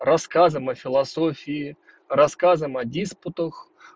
рассказываем о философии рассказываем о диспутах